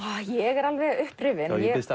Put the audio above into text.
ég er alveg upprifin ég biðst